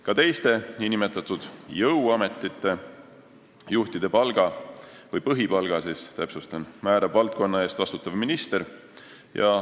Ka teiste nn jõuametite juhtide põhipalga määrab valdkonna eest vastutav minister.